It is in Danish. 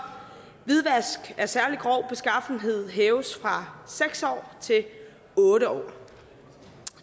hvidvask af særlig grov beskaffenhed hæves fra seks år til otte år